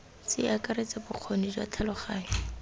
se akaretsa bokgoni jwa tlhaloganyo